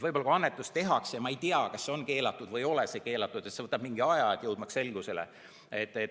Võib-olla, kui annetus tehakse ja ma ei tea, kas see on keelatud või ei ole keelatud, siis see võtab mingi aja, et jõuda selgusele.